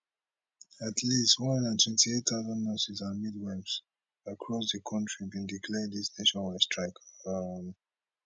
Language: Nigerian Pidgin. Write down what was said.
at least one hundred and twenty eight nurses and midwives across di kontri bin declare dis nationwide strike um